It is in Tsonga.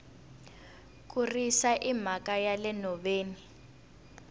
ku risa i mhaka yale nhoveni